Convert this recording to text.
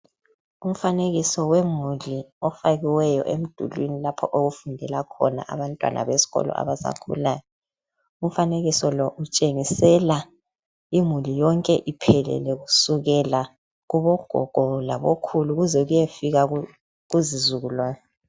Umfanekiso wemuli ofakiweyo emdulwini lapho okufundela khona abantwana besikolo abasakhulayo. Umfanekiso lo utshengisela imuli yonke iphelele kusukela kubogogo labokhulu kuze kuyefika kuzizukulwane.